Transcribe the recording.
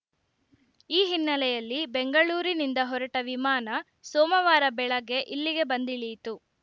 ಈ ಹಿನ್ನೆಲೆಯಲ್ಲಿ ಬೆಂಗಳೂರಿನಿಂದ ಹೊರಟ ವಿಮಾನ ಸೋಮವಾರ ಬೆಳಗ್ಗೆ ಇಲ್ಲಿಗೆ ಬಂದಿಳಿಯಿತು